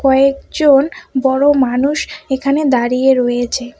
কয়েকজন বড়ো মানুষ এখানে দাঁড়িয়ে রয়েচে ।